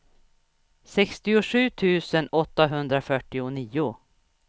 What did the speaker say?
sextiosju tusen åttahundrafyrtionio